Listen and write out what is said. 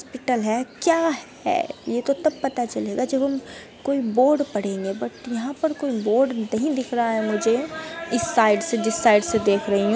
Hospital है क्या है यह तो तब पता चलेगा जब हम जब हम कोई बोर्ड पढ़ेंगे बट यहाँं पर कोई बोर्ड नहीं दिख रहा है मुझे इस साइड से जिस साइड से देख रहे हैं।